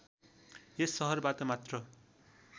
यस सहरबाट मात्र